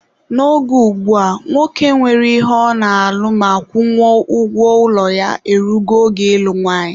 N'oge ugbua, nwoke nwere ihe ọ na-alụ ma kwụnwuo ụgwọ ụlọ ya e rugo oge ịlụ nwanyị.